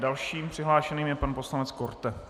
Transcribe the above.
Dalším přihlášeným je pan poslanec Korte.